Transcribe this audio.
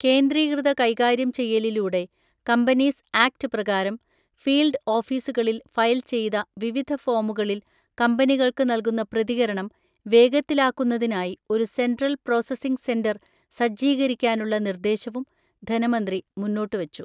കേന്ദ്രീകൃത കൈകാര്യം ചെയ്യലിലൂടെ കമ്പനീസ് ആക്ട് പ്രകാരം ഫീല്ഡ് ഓഫീസുകളിൽ ഫയൽ ചെയ്ത വിവിധ ഫോമുകളിൽ കമ്പനികൾക്ക് നൽകുന്ന പ്രതികരണം വേഗത്തിലാക്കുന്നതിനായി ഒരു സെൻട്രൽ പ്രോസസ്സിംഗ് സെന്റർ സജ്ജീകരിക്കാനുള്ള നിർദ്ദേശവും ധനമന്ത്രി മുന്നോട്ടുവച്ചു.